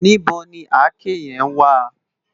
Nibó ni àké yèn wá?